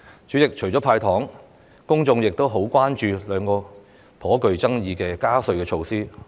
主席，除了"派糖"外，公眾亦很關注兩項頗具爭議的加稅措施。